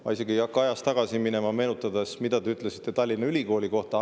Ma isegi ei hakka ajas tagasi minema ja meenutama, mida te ütlesite Tallinna Ülikooli kohta.